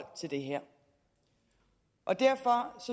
det her og derfor